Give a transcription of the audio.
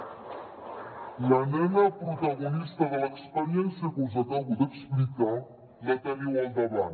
la nena protagonista de l’experiència que us acabo d’explicar la teniu al davant